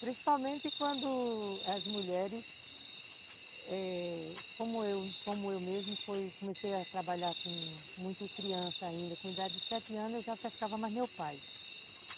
Principalmente quando as mulheres, eh... como eu mesmo, comecei a trabalhar com muito criança ainda, com idade de sete anos, eu já pescava mais meu pai.